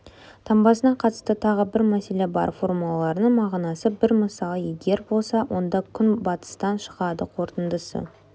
таңбасына қатысты тағы бір мәселе бар формулаларының мағынасы бір мысалы егер болса онда күн батыстан шығады қорытындысы